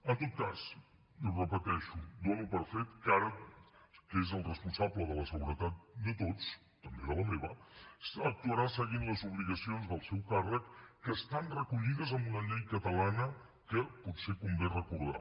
en tot cas i ho repeteixo dono per fet que ara que és el responsable de la seguretat de tots també de la meva actuarà seguint les obligacions del seu càrrec que estan recollides en una llei catalana que potser convé recordar